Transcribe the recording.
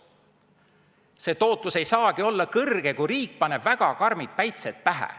See tootlus ei saagi olla kõrge, kui riik paneb väga karmid päitsed pähe.